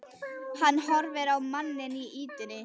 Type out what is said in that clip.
Hann horfir á manninn í ýtunni.